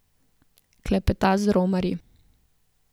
Klepeta z romarji.